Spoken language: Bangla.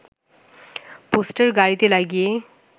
পোস্টার গাড়িতে লাগিয়েই